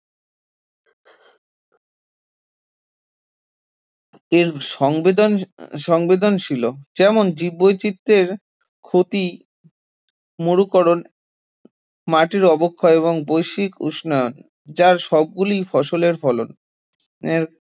এর সংবেদন সংবেদনশীলও যেমন জীববৈচিত্র্যের ক্ষতি, মরুকরণ, মাটির অবক্ষয় এবং বৈশ্বিক উষ্ণায়ন যার সবগুলি ফসলের ফলন এর